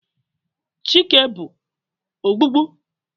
Chike bu ogbugbu?